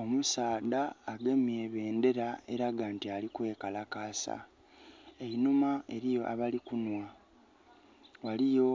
Omusaadha agemye ebendera elaga nti ali kwekalakasa. Einhuma eliyo abali kunhwa. Ghaligho